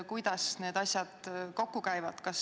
Kuidas need asjad kokku käivad?